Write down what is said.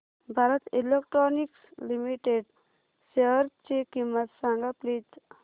Bharat electronics limited शेअरची किंमत सांगा प्लीज